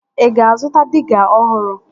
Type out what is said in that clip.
Ị ga-azụta diga ọhụrụ